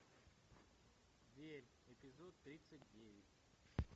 верь эпизод тридцать девять